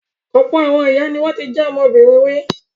Ọ̀pọ̀ àwọn ìyá ni wọ́n ti jẹ́ ọmọbìnrin rí.